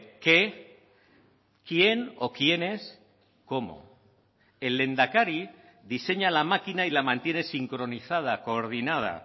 qué quién o quiénes cómo el lehendakari diseña la máquina y la mantiene sincronizada coordinada